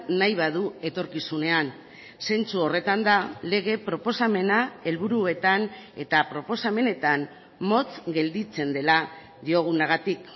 nahi badu etorkizunean zentzu horretan da lege proposamena helburuetan eta proposamenetan motz gelditzen dela diogunagatik